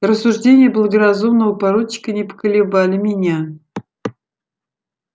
рассуждения благоразумного поручика не поколебали меня